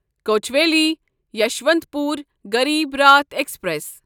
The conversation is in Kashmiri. کوچویلی یسوانتپور غریب راٹھ ایکسپریس